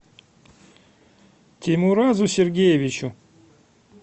теймуразу сергеевичу